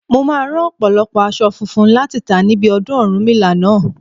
Mo máa rán ọ̀pọ̀lọpọ̀ aṣọ funfun láti tà níbi ọdún Ọ̀rúnmìlà náà.